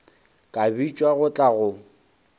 ka bitšwa go tla go